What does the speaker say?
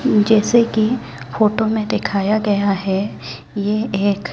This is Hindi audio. जैसे की फोटो में देखाया गया है ये एक--